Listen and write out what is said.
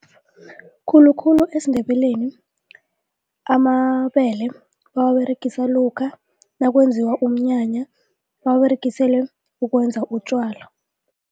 Khulukhulu esiNdebeleni amabele bawaberegisa lokha nakwenziwa umnyanya bawaberegisele ukwenza utjwala.